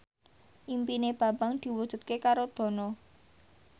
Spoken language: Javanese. impine Bambang diwujudke karo Dono